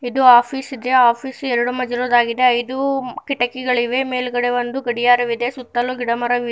ಇದು ಆಫೀಸ್ ಇದೆ ಆಫಿಸ್ ಎರಡು ಎರಡು ಮಧ್ಯ ಇರೋದಾಗಿದೆ ಐದು ಕಿಟಕಿಗಳಿವೆ ಮೇಲ್ಗಡೆ ಒಂದು ಗಡಿಯಾರವಿದೆ ಸುತ್ತಲೂ ಗಿಡ ಮರಗಳಿವೆ.